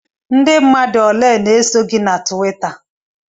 Ndị mmadụ ole na-eso gị na Tuwita?